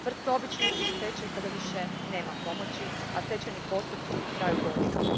Tvrtka obično ide u stečaj kada više nema pomoći, a stečajni postupci traju godinama.